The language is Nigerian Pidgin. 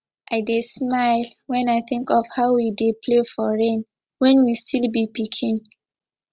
i dey smile when i think of how we dey play for rain when we still be pikin